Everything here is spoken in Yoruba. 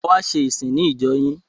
A wá ṣe ìsìn ní ìjọ yín.